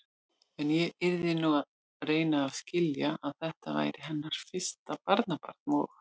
En ég yrði nú að reyna að skilja, að þetta væri hennar fyrsta barnabarn og.